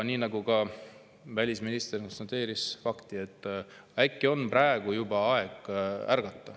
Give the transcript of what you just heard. Ka välisminister konstateeris fakti ja ütles, et äkki on praegu juba aeg ärgata.